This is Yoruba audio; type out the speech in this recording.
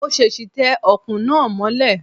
Mo ṣèṣì tẹ Ọ̀kùn náà mọ́lẹ̀